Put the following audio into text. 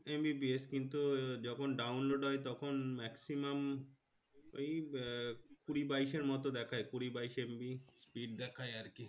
MBPS কিন্তু যখন download হয় তখন maximum এই কুড়ি বাইশ এর মতো দেখায় কুড়ি বাইশ MB speed দেখায় আরকি